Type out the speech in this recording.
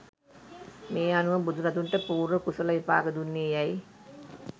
මේ අනුව බුදුරදුන්ට පූර්ව කුසල විපාක දුන්නේ යැයි